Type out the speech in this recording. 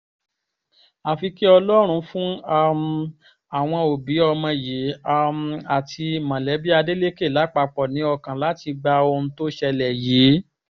àfi kí ọlọ́run fún um àwọn òbí ọmọ yìí um àti mọ̀lẹ́bí ádélékè lápapọ̀ ní ọkàn láti gba ohun tó ṣẹlẹ̀ yìí